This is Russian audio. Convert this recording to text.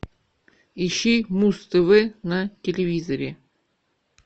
ищи муз тв на телевизоре